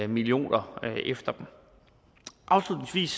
millioner efter dem afslutningsvis